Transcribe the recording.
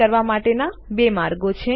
તે કરવા માટેના બે માર્ગો છે